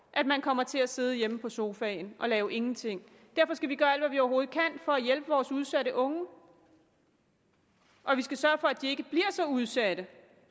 at man kommer til at sidde hjemme på sofaen og lave ingenting derfor skal vi gøre alt hvad vi overhovedet kan for at hjælpe vores udsatte unge og vi skal sørge for at de ikke bliver så udsatte